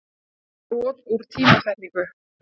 eða brot úr tímasetningu.